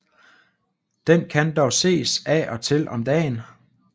Den kan dog ses af og til om dagen